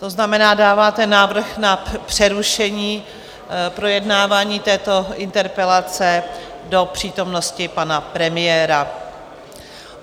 To znamená, dáváte návrh na přerušení projednávání této interpelace do přítomnosti pana premiéra.